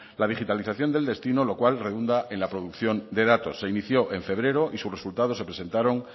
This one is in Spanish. la digitalización del destino lo cual redunda en la producción de datos se inició en febrero y sus resultados se presentaron